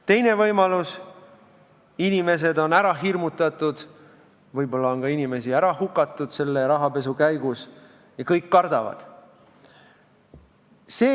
Teine võimalus: inimesed on ära hirmutatud, võib-olla on inimesi selle rahapesu käigus ka hukatud ja kõik kardavad.